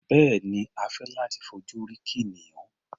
Bẹ́ẹ̀ni, a fẹ́ láti fojú rí kìnìún.